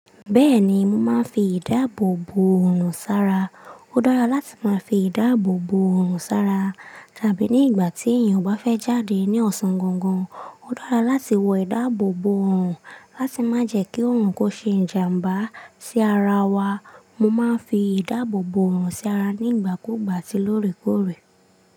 Bẹ́ẹ̀ni, mo máa ń fi ìdáàbò bò òrùn sára. Ó dára láti máa fi ìdáàbò bò òrùn sára tàbí ní ìgbà tí èèyàn bá fẹ́ jáde ní ọ̀sán gangan. Ó dára láti wọ ìdáàbò bò òrùn láti má jẹ́ kí òrùn kó ṣe ìjàmbá sí ara wa. Mo máa ń fi ìdáàbò bò òrùn sí ara nígbà kúùgbà tí lóòrèkóòrè.